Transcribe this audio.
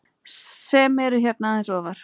sem eru hérna aðeins ofar.